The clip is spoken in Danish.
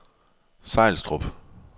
Sejlstrup